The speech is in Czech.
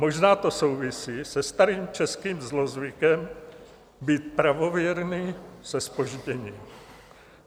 Možná to souvisí se starým českým zlozvykem být pravověrný se zpožděním.